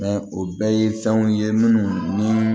o bɛɛ ye fɛnw ye minnu ni